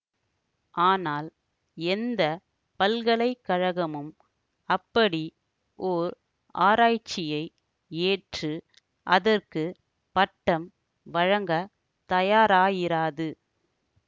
ஆனால் எந்த பல்கலைக்கழகமும் அப்படி ஓர் ஆராய்ச்சியை ஏற்று அதற்கு பட்டம் வழங்க தயாராயிராது